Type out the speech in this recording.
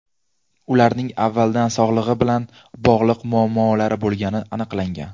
Ularning avvaldan sog‘lig‘i bilan bog‘liq muammolari bo‘lgani aniqlangan.